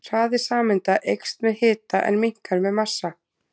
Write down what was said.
Hraði sameinda eykst með hita en minnkar með massa.